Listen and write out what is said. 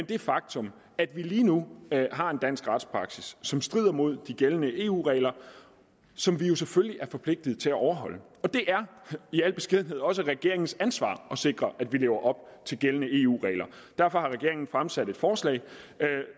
det faktum at vi lige nu har en dansk retspraksis som strider imod de gældende eu regler som vi selvfølgelig er forpligtet til at overholde det er i al beskedenhed også regeringens ansvar at sikre at vi lever op til gældende eu regler derfor har regeringen fremsat et forslag